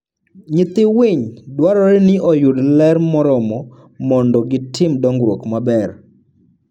Nyithii winy dwarore ni oyud ler moromo mondo gitim dongruok maber.